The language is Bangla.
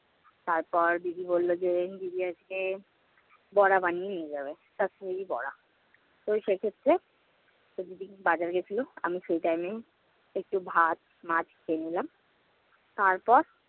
তারপর দিদি বলল যে, দিদি আজকে বড়া বানিয়ে নিয়ে যাবে, কাশ্মীরি বড়া। তো সেক্ষেত্রে সেই দিদিটা বাজারে গিয়েছিল, আমি সে time এ একটু ভাত, মাছ খেয়ে নিলাম। তারপর